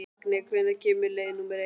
Magney, hvenær kemur leið númer eitt?